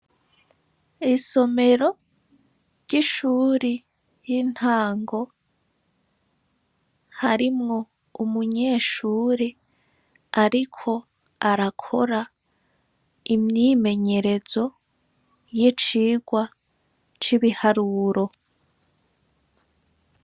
Isomero ry'ishure y'intango, harimwo umunyeshure ariko arakora imyimenyerezo y'icigwa c'ibiharuro.